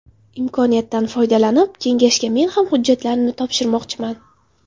Imkoniyatdan foydalanib, kengashga men ham hujjatlarimni topshirmoqchiman.